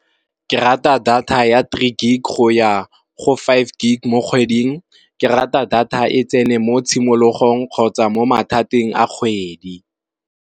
Ke rata data ya three gig go ya go five gig mo kgweding, ke rata data e tsene mo tshimologong kgotsa mo mathateng a kgwedi.